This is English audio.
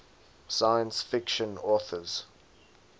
science fiction authors